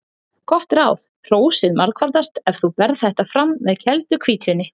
Gott ráð: Hrósið margfaldast ef þú berð þetta fram með kældu hvítvíni.